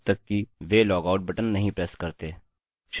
शुरूआत में मैं एक html फॉर्म बनाऊँगा